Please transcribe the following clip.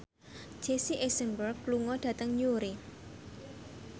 Jesse Eisenberg lunga dhateng Newry